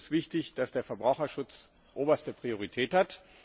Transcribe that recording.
Für uns ist wichtig, dass der Verbraucherschutz oberste Priorität hat.